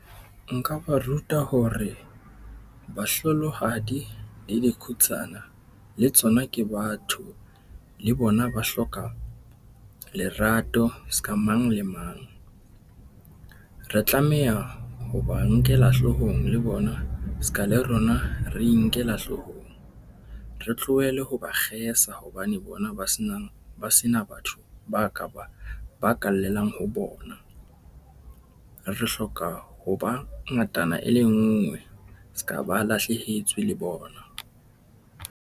Nka ba ruta hore bahlolohadi le dikhutsana le tsona ke batho le bona ba hloka, lerato ska mang le mang. Re tlameha ho ba nkela hloohong le bona ska le rona re inkela hloohong. Re tlohele ho ba kgesa hobane bona ba senang ba sena batho ba ka ba, ba ka llelang ho bona. Re hloka ho ba ngatana e le nngwe ska, ba lahlehetswe le bona.